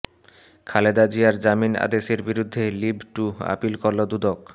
খালেদা জিয়ার জামিন আদেশের বিরুদ্ধে লিভ টু আপিল করল দুদক